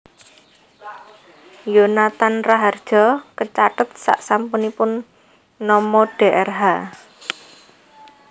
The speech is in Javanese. Yonathan Rahardjo kecathet sasampunipun nama Drh